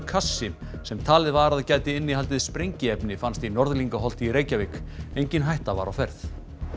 kassi sem talið var að gæti innihaldið sprengiefni fannst í Norðlingaholti í Reykjavík engin hætta var á ferð